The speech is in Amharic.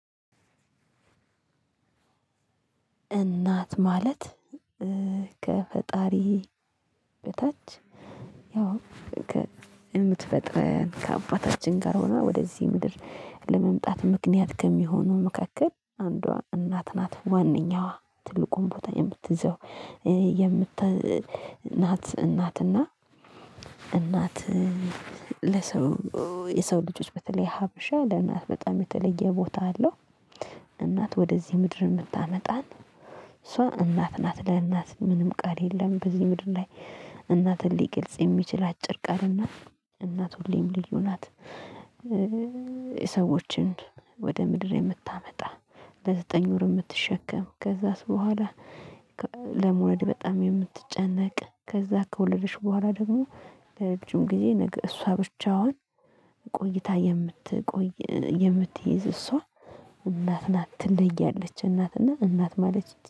እናት ማለት ከፈጣሪ በታች ያው የምትፈጥረን ከአባታችን ጋር ሆኖ ወደዚህ ምድር ለመምጣት ምክንያት ከሚሆኑ መካከል አንዷ እናት ናት ዋነኛዋ ትልቁን ቦታ የምትዘው የምት ናት። እናትና እናት ለሰው የሰው ልጆች በተለይ ሀበሻ ለእናት በጣም የተለየ ቦታ አለው። እናት ወደዚህ ምድር የምታመጣን ሰው እናት ናት። ለእናት ምንም ቃል የለም በዚህ ምድር ላይ። እናትን ሊግልጽ የሚችል አጭር ቃል እናት ሁሌም ልዩ ናት። የሰዎችን ወደ ምድር የምታመጣ ለዘጠኝ ወር የምትሸከም ከዛስ በኋላ። ለመውለድ በጣም የምትጨነቅ ከዛ ከወለደች በኋላ ደግሞ ለረጅም ጊዜ እሷ ብቻዋን ቆይታ የምትቆይ የምትይዝ እሷ እናት ናት ትለያለች እናትና እናት ማለት